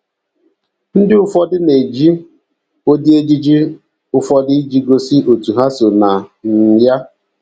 Ndị ụfọdụ na - eji ụdị ejiji ụfọdụ iji gosi òtù ha so na um ya.